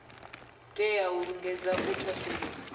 tea u lingedza u thasulula